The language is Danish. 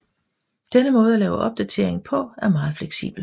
Denne måde at lave opdateringen på er meget fleksibel